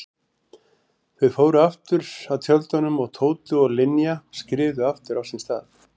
Þau fóru aftur að tjöldunum og Tóti og Linja skriðu aftur á sinn stað.